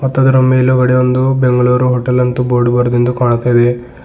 ಮಾತ್ ಅದರ ಮೇಲ್ಗಡೆ ಒಂದು ಬೆಂಗಳೂರು ಹೋಟೆಲ್ ಅಂತ ಬೋರ್ಡ್ ಬರ್ದಿಂದ್ದು ಕಾಣ್ತಾ ಇದೆ.